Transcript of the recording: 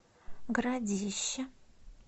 городище